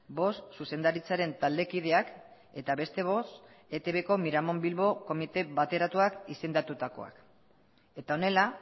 bost zuzendaritzaren taldekideak eta beste bost etbko miramon bilbo komite bateratuak izendatutakoak eta honela